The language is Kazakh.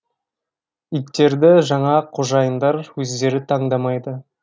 иттерді жаңа қожайындар өздері таңдамайды